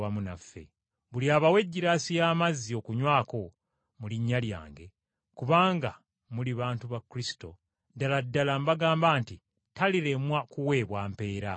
Buli abawa eggiraasi y’amazzi okunywako mu linnya lyange kubanga muli bantu ba Kristo, ddala ddala mbagamba nti talirema kuweebwa mpeera.”